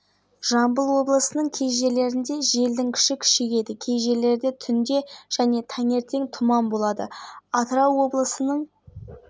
көрші қырғыз елімен шекаралас жатқан аудандағы ең ірі бекеттің бірі қордай бөлімі аталған шекара учаскесінде бұдан